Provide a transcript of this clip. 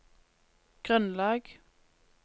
grunnlag